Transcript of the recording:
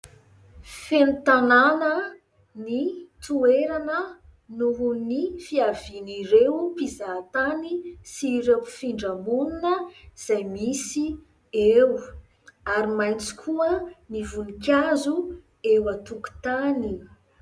Feno tanàna ny toerana nohon'ny fiavian'ireo mpizahatany sy ireo mpifindra monina izay misy eo, ary maitso koa ny vonikazo eo antokontany.